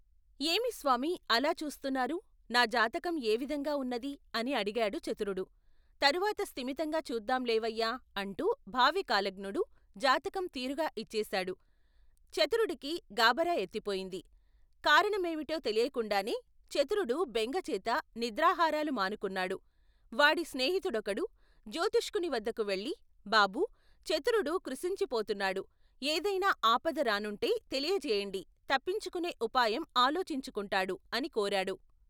ఏమిస్వామీ అలా చూస్తున్నారు నా జాతకం ఏవిధంగా ఉన్నదీ అని అడిగాడుచతురుడు తరువాత స్తిమితంగా చూద్దాం లేవయ్యా అంటూ భావికాలజ్ఞుడు జాతకం తిరుగా ఇచ్చేశాడు చతురుడికి గాభరాఎత్తిపోయింది కారణమేమిటో తెలియకుండానే చతురుడు బెంగచేత నిద్రాహారాలు మానుకున్నాడు వాడి స్నేహితుడొకడు జ్యోతిష్కునివద్దకు వెళ్లి బాబూ, చతురుడు కృశించిపోతున్నాడు ఏదైనా ఆపద రానుంటే తెలియ జేయండి తప్పించుకునే ఉపాయం ఆలోచించుకుంటాడు అనికోరేడు.